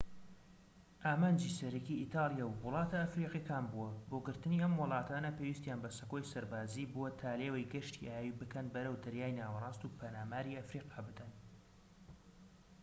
ئامانجی سەرەکیی ئیتاڵیا وڵاتە ئەفریقیەکان بووە بۆ گرتنی ئەم وڵاتانە پێویستیان بە سەکۆی سەربازیی بووە تا لێوەی گەشتی ئاوی بکەن بەرەو دەریای ناوەراست و پەلاماری ئەفریقا بدەن